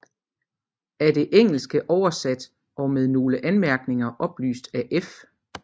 Af det engelske oversat og med nogle anmærkninger oplyst af F